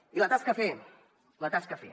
i la tasca a fer la tasca a fer